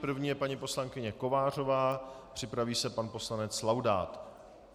První je paní poslankyně Kovářová, připraví se pan poslanec Laudát.